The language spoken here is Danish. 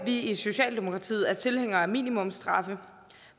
vi i socialdemokratiet er tilhængere af minimumsstraffe